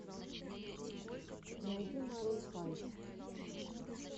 найти марун файв